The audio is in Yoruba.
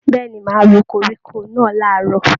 Bẹ̀ẹ́ni, máa ro koríko náà làárọ̀.